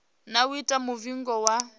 na u ita muvhigo wa